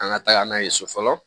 An ka taga n'a ye so fɔlɔ